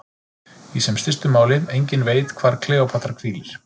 Í sem stystu máli: enginn veit hvar Kleópatra hvílir.